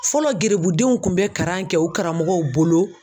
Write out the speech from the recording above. Fɔlɔ gerebudenw kun bɛ karan kɛ u karamɔgɔw bolo